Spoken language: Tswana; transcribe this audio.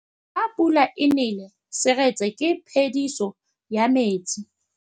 Fa pula e nelê serêtsê ke phêdisô ya metsi.